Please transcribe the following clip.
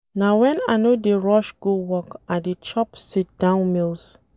Na wen I no dey rush go work I dey chop sit-down meals.